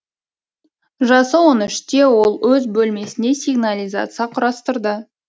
жасы он үште ол өз бөлмесіне сигнализация құрастырды